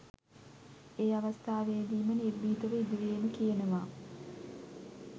ඒ අවස්ථාවේදීම නිර්භීතව ඉදිරියේදීම කියනවා.